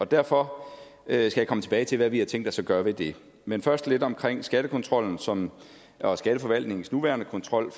derfor skal jeg komme tilbage til hvad vi har tænkt os at gøre ved det man først lidt omkring skattekontrollen som er skatteforvaltningens nuværende kontrol